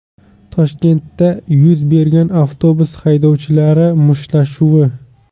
Toshkentda yuz bergan avtobus haydovchilari mushtlashuvi.